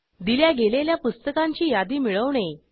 दिल्या गेलेल्या पुस्तकांची यादी मिळवणे